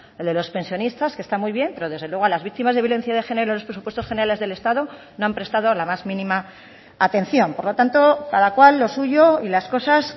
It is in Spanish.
el de los pensionistas que está muy bien pero desde luego a las víctimas de violencia de género en los presupuestos generales del estado no han prestado la más mínima atención por lo tanto cada cual lo suyo y las cosas